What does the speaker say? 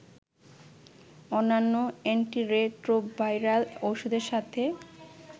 অন্যান্য অ্যান্টিরেট্রোভাইরাল ঔষধের সাথে